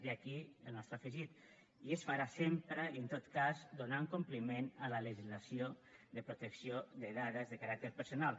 i aquí el nostre afegit i es farà sempre i en tot cas donant compliment a la legislació de protecció de dades de caràcter personal